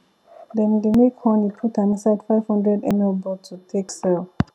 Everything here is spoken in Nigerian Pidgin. dem dey make honey put am inside five hundred ml bottle take sell